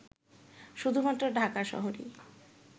শুধুমাত্র ঢাকা শহরেই